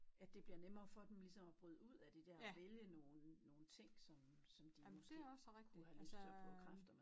At det bliver nemmere for dem ligesom at bryde ud af det dér og vælge nogen nogen ting som som de måske kunne have lyst til at prøve kræfter med